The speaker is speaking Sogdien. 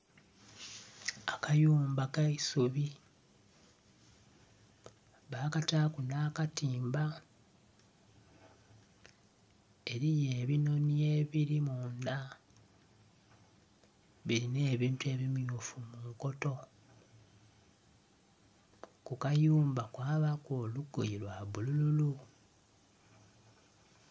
Akayumba kaisubi bakataku nha katimba eriyo ebinhonhi ebiri mundha birina ebintu ebimyufu munkoto, ku katimba kwabaku olugoye lwa bululu.